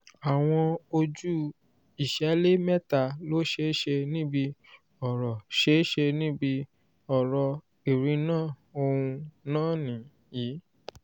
àwọn ojú ìṣẹlẹ méta lò ṣeéṣe níbí oro ṣeéṣe níbí oro irinna òun nàá niyii: